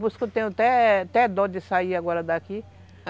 Por isso que eu tenho até até dó de sair agora daqui.